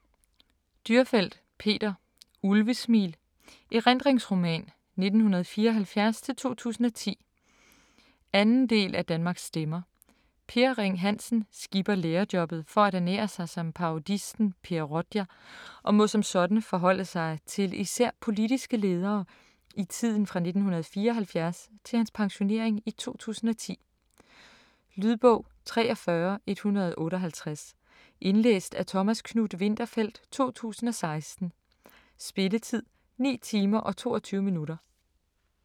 Dürrfeld, Peter: Ulvesmil: erindringsroman 1974-2010 2. del af Danmarks stemmer. Per Ring Hansen skipper lærerjobbet for at ernære sig som parodisten Per Rodia og må som sådan forholde sig til især politiske ledere i tiden fra 1974 til hans pensionering i 2010. Lydbog 43158 Indlæst af Thomas Knuth-Winterfeldt, 2016. Spilletid: 9 timer, 22 minutter.